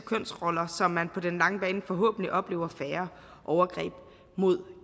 kønsroller så man på den lange bane forhåbentlig oplever færre overgreb mod